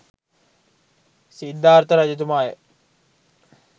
Siddhartha රජතුමාය.